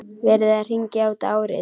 Verið að hringja út árið.